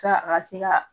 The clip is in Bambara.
Sa a ka se ka